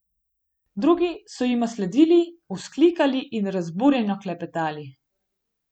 Drugi so jima sledili, vzklikali in razburjeno klepetali.